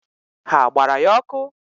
Ha gbara ya ọkụ?